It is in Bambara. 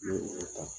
N ye o ta